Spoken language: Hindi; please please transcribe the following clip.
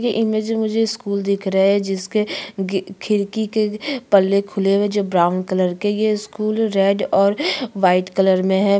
ये इमेज में मुझे स्कूल दिख रहा है जिसके खिड़की के पल्ले खुले हुए है जो ब्राउन कलर के ये स्कूल रेड और वाइट कलर में है।